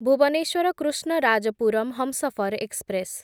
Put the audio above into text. Bhubaneswar Krishnarajapuram Humsafar express